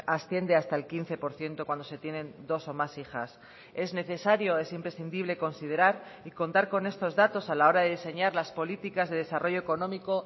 asciende hasta el quince por ciento cuando se tienen dos o más hijas es necesario es imprescindible considerar y contar con estos datos a la hora de diseñar las políticas de desarrollo económico